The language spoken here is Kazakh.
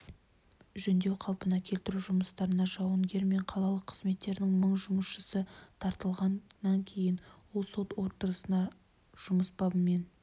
жөндеу-қалпына келтіру жұмыстарына жауынгер мен қалалық қызметтердің мың жұмысшысы тартылған іейін ол сот отырыстарына жұмыс бабымен